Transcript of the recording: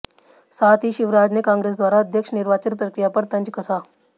साथ ही शिवराज ने कांग्रेस द्वारा अध्यक्ष निर्वाचन प्रक्रिया पर तंज कसा